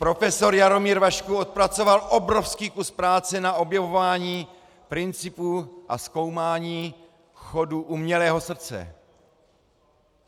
Profesor Jaromír Vašků odpracoval obrovský kus práce na objevování principů a zkoumání chodu umělého srdce.